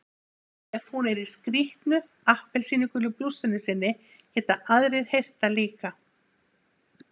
Ef hún er í skrýtnu appelsínugulu blússunni sinni geta aðrir heyrt það líka.